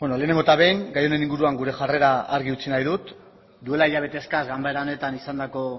lehenengo eta behin gai honen inguruan gure jarrera argi utzi nahi dut duela hilabete eskas ganbara honetan izandako